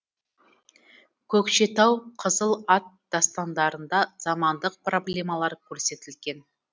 көкшетау қызыл ат дастандарында замандық проблемалар көрсетілген